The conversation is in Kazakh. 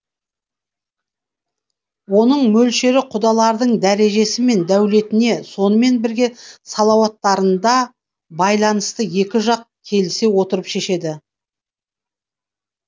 оның мөлшері құдалардың дәрежесі мен дәулетіне сонымен бірге салауаттарынада байланысты екі жақ келісе отырып шешеді